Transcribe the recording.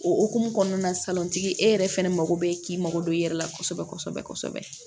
O hokumu kɔnɔna na salontigi e yɛrɛ fɛnɛ mago bɛ k'i mago don e yɛrɛ la kosɛbɛ kosɛbɛ